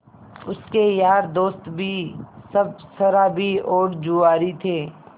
उसके यार दोस्त भी सब शराबी और जुआरी थे